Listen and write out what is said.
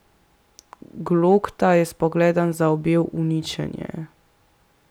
Glokta je s pogledom zaobjel uničenje.